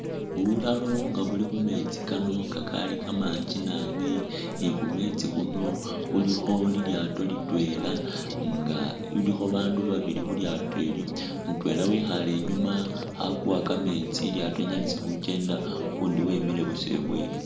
Bulalo nga buli khumeetsi kano kakali kamangi nabi ni khumeetsi khuno khulikho lilyaato nil twela nga alikho babaandu Babylon khu lyaato ilyo mutweela wekhale inyuma khakuwa kameetsi ilyato linyalise khukenda ukundi wemile busa ibweni.